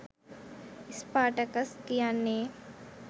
Spartacus කියන්නේ